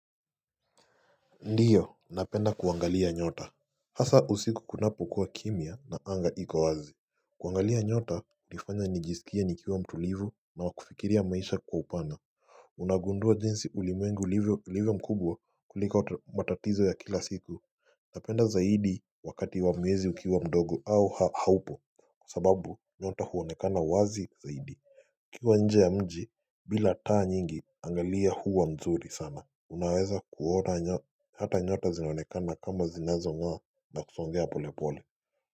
Ndiyo napenda kuangalia nyota Hasa usiku kunapo kuwa kimya na anga iko wazi kuangalia nyota hunifanya nijisikie nikiwa mtulivu na wakufikiria maisha kwa upana unagundua jinsi ulimwengu ulivyo mkubwa kuliko matatizo ya kila siku Unapenda zaidi wakati wa mwezi ukiwa mdogo au haupo Kwa sababu nyota huonekana wazi zaidi ukiwa nje ya mji bila taa nyingi anga huwa mzuri sana Unaweza kuota hata nyote zinonekana kama zinazo ngaa na kusongea pole pole.